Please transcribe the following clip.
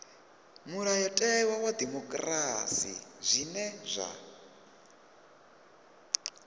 mulayotewa wa dimokirasi zwine zwa